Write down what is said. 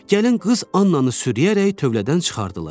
Gəlin qız Annanı sürüyərək tövlədən çıxardılar.